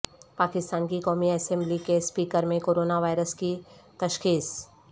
پاکستان کی قومی اسمبلی کے اسپیکر میں کورونا وائرس کی تشخیص